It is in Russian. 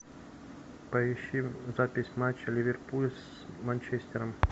поищи запись матча ливерпуль с манчестером